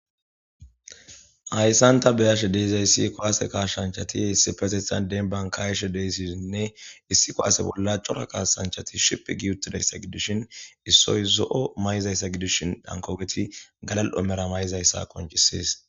hayssan ta beyashe deyzayssi kowaase kaashanchati issi fesisan den bankayashe deysiisinne issikkowase bolla cora kaasanchati ship giyuttidayssa gidishin issoy zo7o may7izayssa gidishin dhankogeti galal7omera may7izayssa konchisies